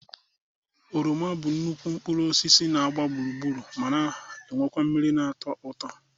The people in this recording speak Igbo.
Oroma bụ nnukwu mkpụrụ osis na-agba gburugburu ma na-enwe mmiri na-atọ ụtọ.